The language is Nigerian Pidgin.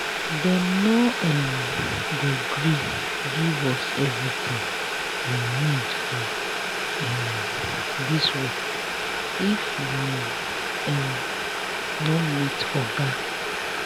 dem no um go gree give us everything we need for um dis work if we um no meet oga